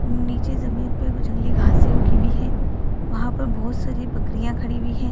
नीचे जमीन पे कुछ जंगली घासे उगी हुई है वहां पे बहुत सारी बकरियां खड़ी हुई है।